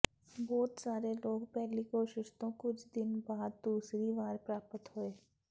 ਬਹੁਤ ਸਾਰੇ ਲੋਕ ਪਹਿਲੀ ਕੋਸ਼ਿਸ਼ ਤੋਂ ਕੁਝ ਦਿਨ ਬਾਅਦ ਦੂਸਰੀ ਵਾਰ ਪ੍ਰਾਪਤ ਹੋਏ